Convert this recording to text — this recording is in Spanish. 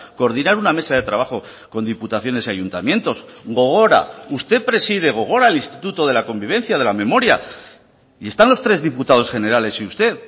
coordinar una mesa de trabajo con diputaciones y ayuntamientos gogora usted preside gogora el instituto de la convivencia de la memoria y están los tres diputados generales y usted